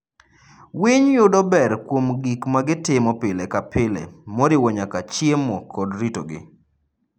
Winy yudo ber kuom gik ma gitimo pile ka pile, moriwo nyaka chiemo kod ritogi.